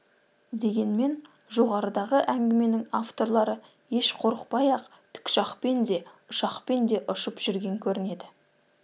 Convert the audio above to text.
дегенмен жоғарыдағы әңгіменің авторлары еш қорықпай-ақ тікұшақпен де ұшақпен де ұшып жүрген көрінеді